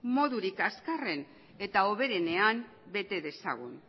modurik azkarren eta hoberenean bete dezagun